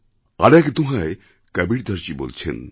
আরেক দোঁহায় কবীরদাসজী বলছেন